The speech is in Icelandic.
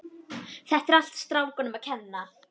Þetta er allt strákunum að kenna.